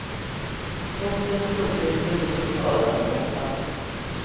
Botens storlek beror på skadans omfattning.